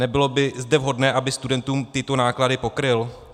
Nebylo by zde vhodné, aby studentům tyto náklady pokryl?